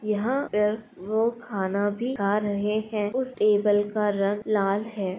यहाँ पर वो खाना भी खा रहे हैं उस टेबल का रंग लाल है।